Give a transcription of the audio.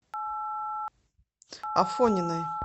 афониной